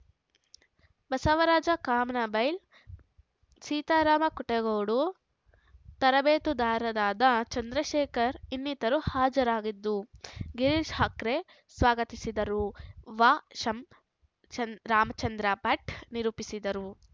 ಬಸವರಾಜ ಕಾಮನಬೈಲ್‌ ಸೀತಾರಾಮ ಕುಂಟಗೋಡು ತರಬೇತುದಾರರಾದ ಚಂದ್ರಶೇಖರ್‌ ಇನ್ನಿತರು ಹಾಜರಿದ್ದರು ಗಿರೀಶ್‌ ಹಕ್ರೆ ಸ್ವಾಗತಿಸಿದರು ವಶಂಚಂದ್ ರಾಮಚಂದ್ರ ಭಟ್‌ ನಿರೂಪಿಸಿದರು